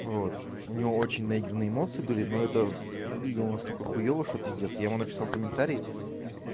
вот у него очень наигранные эмоции были но это выглядело настолько хуева что пиздец я ему написал комментарий